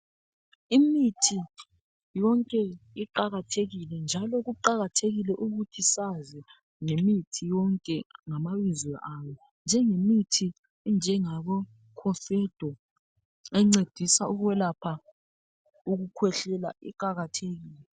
Imithi yonke iqakathekile njalo kuqakathekile ukuthi sazi ngemithi yonke ngamabizo awo njenge mithi enjengabo KOFEDO encedisa ukwelapha ukukwehlala iqakathekile.